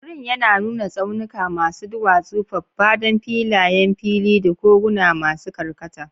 Wurin yana nuna tsaunuka masu duwatsu, faffadan filayen fili, da koguna masu karkata.